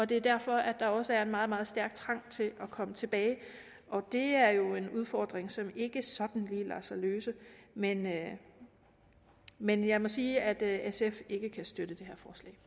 der derfor også er en meget meget stærk trang til at komme tilbage og det er jo en udfordring som ikke sådan lige lader sig løse men jeg men jeg må sige at sf ikke kan støtte